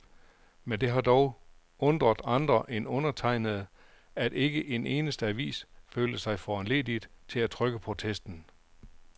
Men det har dog undret andre end undertegnede, at ikke en eneste avis følte sig foranlediget til at trykke protesten.